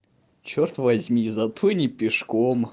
чёрт возьми зато не пешком